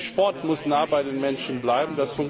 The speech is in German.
Der Sport muss nah bei den Menschen bleiben.